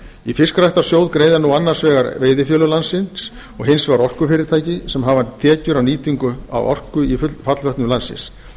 í fiskræktarsjóð greiða nú annars vegar veiðifélög landsins og hins vegar orkufyrirtæki sem hafa tekjur af nýtingu orku í fallvötnum landsins